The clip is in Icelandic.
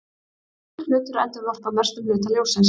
Hvítur hlutur endurvarpar mestum hluta ljóssins.